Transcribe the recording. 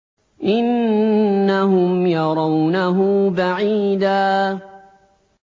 إِنَّهُمْ يَرَوْنَهُ بَعِيدًا